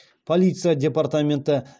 полиция департаменті